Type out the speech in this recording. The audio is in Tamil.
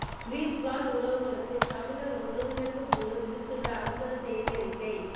சுவிஸ் வாழ் உறவுகளுக்கு தமிழர் ஒருங்கிணைப்புக் குழு விடுத்துள்ள அவசர செய்தியறிக்கை